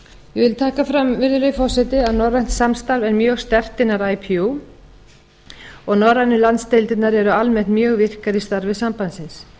vil taka fram virðulegi forseti að norrænt samstarf er mjög sterkt innan ipu og norrænu landsdeildirnar er almennt mjög virkar í starfi sambandsins